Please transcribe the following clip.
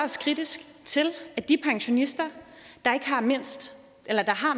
os kritisk til at de pensionister der har mindst